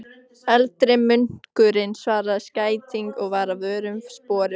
Eldri munkurinn svaraði skætingi og var að vörmu spori horfinn.